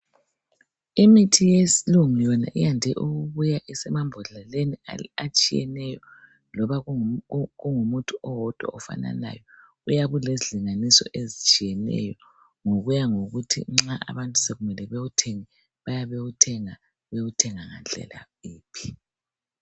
Imithi yesilungu yona iyande ukubuya isemabhodleleni atshiyeneyo loba kungumuthi owodwa ofananayo. Uyabe ulezilinganiso ezitshiyeneyo ngokuya ngokuthi nxa abantu sokumele bewuthenge bayabe bewuthenga, bewuthenga ngandlela yiphi.